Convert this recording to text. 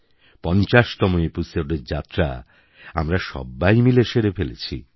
৫০তম এপিসোডের যাত্রা আমরা সব্বাই মিলে সেরে ফেলেছি